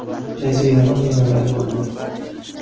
Jazirama, mevalar bo‘ldi.